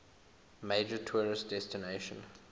major tourist destination